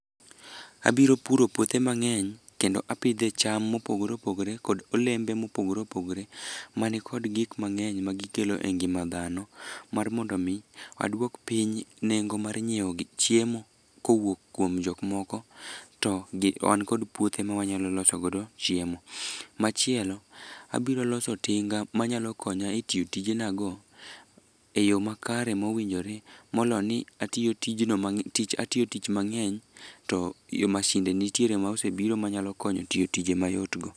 Abiro puro puothe mang'eny, kendo apidhe cham mopogore opogore kod olembe mopogore opogore, mani kod gik mang'eny magikelo e ngima dhano, mar mondo omi adwok piny nengo mar nyiewo chiemo kowuok kuom jok moko, to an kod puothe mawanyalo loso godo chiemo. Machielo, abiro loso tinga manyalo konya e tiyo tijena go,e yo makare mowinjore moloni atiyo tich mang'eny, to masinde nitiere mosebiro manyalo konya tiyo tije mayot go.